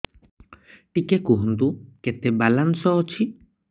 ଟିକେ କୁହନ୍ତୁ କେତେ ବାଲାନ୍ସ ଅଛି